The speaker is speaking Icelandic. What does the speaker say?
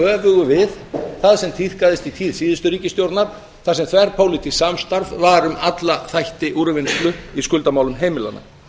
öfugu við það sem tíðkaðist í tíð síðustu ríkisstjórnar þar sem þverpólitískt samstarf var um alla þætti úrvinnslu í skuldamálum heimilanna